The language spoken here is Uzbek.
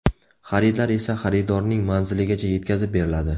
Xaridlar esa xaridorning manziligacha yetkazib beriladi.